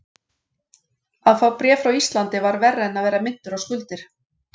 Að fá bréf frá Íslandi var verra en að vera minntur á skuldir.